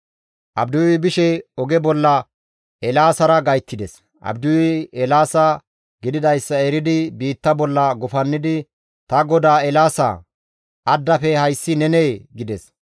Abdiyuy bishe oge bolla Eelaasara gayttides. Abdiyuy Eelaasa gididayssa eridi biitta bolla gufannidi, «Ta godaa Eelaasaa! Addafe hayssi nenee?» gides.